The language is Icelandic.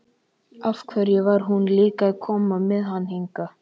Af hverju var hún líka að koma með hann hingað?